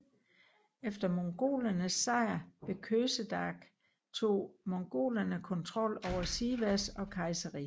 Efter mongolernes sejr ved Kösedag tog mongolerne kontrol over Sivas og Kayseri